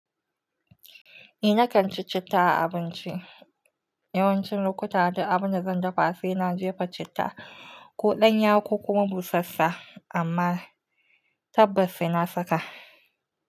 Eh nakan ci citta a abinci. Yawancin lokuta, duk abinda zan dafa sai na jefa citta, ko danya ko kuma busassu amma tabbas sai na saka.